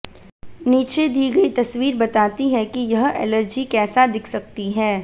नीचे दी गई तस्वीर बताती है कि यह एलर्जी कैसा दिख सकती है